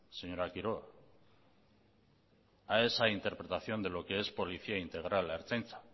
señora quiroga a esa interpretación de lo qué es policía integral la ertzaintza